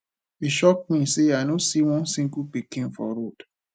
e shock me say i no see one single pikin for road